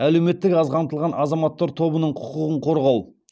әлеуметтік аз қамтылған азаматтар тобының құқығын қорғау